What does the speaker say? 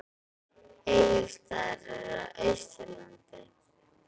Egilsstaðir eru á Austurlandi.